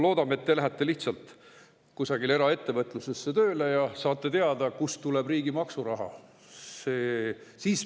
Loodame, et te lähete lihtsalt kusagile eraettevõtlusesse tööle ja saate teada, kust tuleb riigi maksuraha.